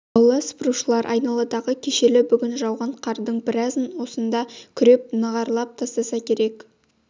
аула сыпырушылар айналадағы кешелі-бүгін жауған қардың біразын осында күреп нығарлап тастаса керек